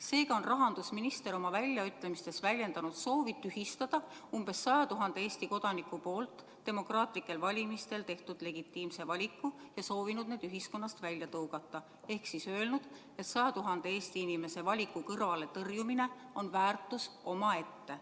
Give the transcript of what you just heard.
Seega on rahandusminister oma väljaütlemisega väljendanud soovi tühistada umbes 100 000 Eesti kodaniku demokraatlikel valimistel tehtud legitiimne valik ja nad ühiskonnast välja tõugata – ehk öelnud, et 100 000 Eesti inimese valiku kõrvaletõrjumine on väärtus omaette.